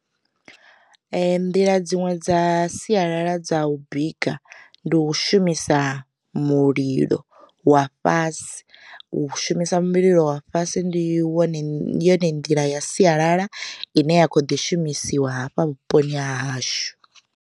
Nḓila dziṅwe dza sialala dza u bika ndi u shumisa mulilo wa fhasi, u shumisa mulilo wa fhasi ndi wone ndi yone nḓila ya sialala ine ya kho ḓi shumisiwa hafha vhuponi ha hashu.